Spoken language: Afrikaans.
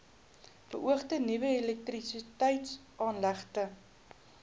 beoogde nuwe elektrisiteitsaanlegte